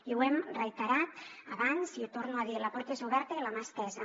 i ho hem reiterat abans i ho torno a dir la porta és oberta i la mà estesa